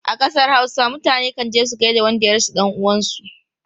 A kasar Hausa, mutane kan je su gaida wanda ya rasa dan uwansu.